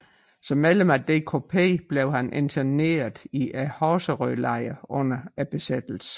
Som medlem af DKP blev han interneret i Horserødlejren under besættelsen